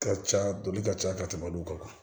Ka ca dɔni ka ca ka tɛmɛ olu kan